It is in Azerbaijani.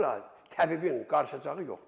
Bura təbibin qarışacağı yoxdur.